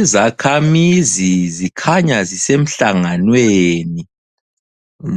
lzikhamizi zikhanya zisemhlanganweni